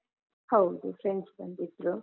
ಹೌದು friends ಬಂದಿದ್ರು.